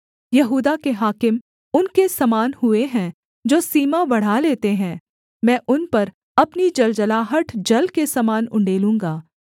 यहूदा के हाकिम उनके समान हुए हैं जो सीमा बढ़ा लेते हैं मैं उन पर अपनी जलजलाहट जल के समान उण्डेलूँगा